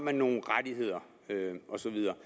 har nogle rettigheder og så videre